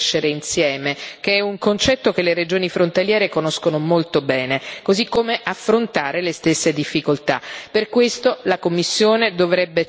L'obiettivo della cooperazione territoriale è crescere insieme, che è un concetto che le regioni frontaliere conoscono molto bene, così come affrontare le stesse difficoltà.